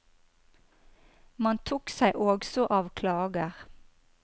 Man tok seg også av klager.